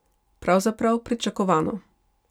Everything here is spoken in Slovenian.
Pravzaprav pričakovano.